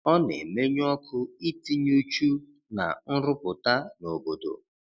Ọ na-emenyụ ọkụ itinye uchu na nrụpụta nobodo.